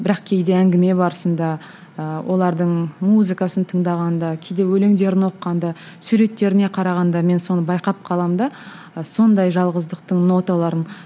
бірақ кейде әңгіме барысында ыыы олардың музыкасын тыңдағанда кейде өлеңдерін оқығанда суреттеріне қарағанда мен соны байқап қаламын да сондай жалғыздықтың ноталарын